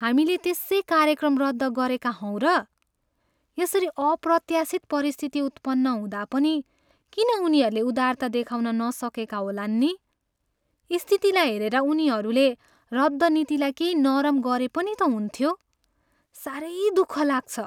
हामीले त्यसै कार्यक्रम रद्द गरेका हौँ र? यसरी अप्रत्याशित परिस्थिति उत्पन्न हुँदा पनि किन उनीहरूले उदारता देखाउन नसकेका होलान् नि? स्थितिलाई हेरेर उनीहरूले रद्द नीतिलाई केही नरम गरे पनि त हुन्थ्यो। साह्रै दुःख लाग्छ।